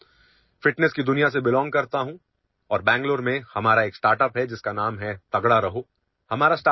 मी स्वतः तंदुरुस्तीच्या विश्वाशी संबंधित आहे आणि बेंगळूरूमध्ये आमचा तगडा रहो नामक स्टार्ट अप उद्योग आहे